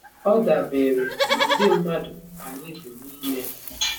Ọ dabere n’ụdị mmadụ anyị bụ n’ime.